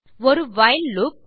ஒரு while loop